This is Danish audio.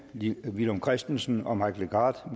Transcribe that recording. villum christensen og mike legarth